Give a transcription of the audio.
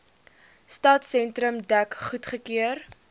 stadsentrum dek goedgekeur